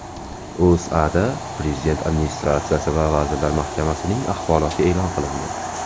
O‘zAda Prezident Administratsiyasi va Vazirlar Mahkamasining axboroti e’lon qilindi .